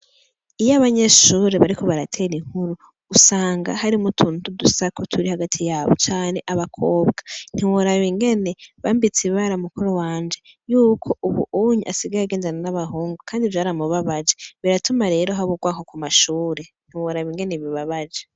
Iyo abanyeshuri bariko baratera inkuru usanga harimwo utuntu twudusaku turi hagati yabo hari abakobwa ntiworaba ingene bambitse ibara mukuru wanje yuko ubunye asigaye agendana n'abahungu kandi vyara mu babaje biratuma haba urwanko ku mashuri ntiworaba ingene bibabaje.